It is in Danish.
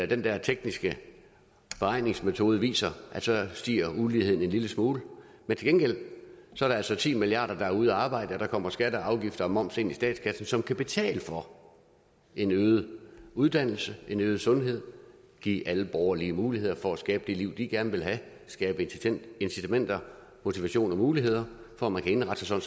den der tekniske beregningsmetode viser at så stiger uligheden en lille smule men til gengæld er der altså ti milliard kr der er ude at arbejde og der kommer skatter og afgifter og moms ind i statskassen som kan betale for en øget uddannelse en øget sundhed give alle borgere lige muligheder for at skabe det liv de gerne vil have skabe incitamenter motivation og muligheder for at man kan indrette sig